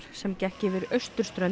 sem gekk yfir austurströnd